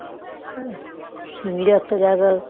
হ্যাঁ সিমিরও একটা জায়গায়